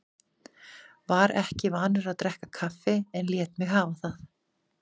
Var ekki vanur að drekka kaffi en lét mig hafa það.